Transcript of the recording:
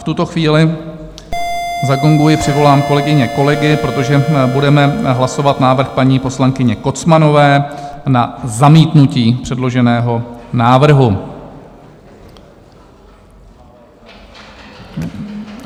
V tuto chvíli zagonguji, přivolám kolegyně, kolegy, protože budeme hlasovat návrh paní poslankyně Kocmanové na zamítnutí předloženého návrhu.